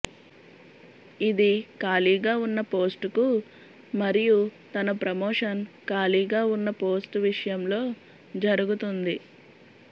ఇది ఖాళీగా ఉన్న పోస్ట్కు మరియు తన ప్రమోషన్ ఖాళీగా ఉన్న పోస్ట్ విషయంలో జరుగుతుంది